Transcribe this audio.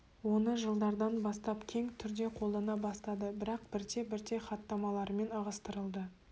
оны жылдардан бастап кең түрде қолдана бастады бірақ бірте-бірте хаттамаларымен ығыстырылды